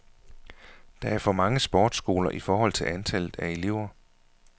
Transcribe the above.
Der er for mange sportsskoler i forhold til antallet af elever.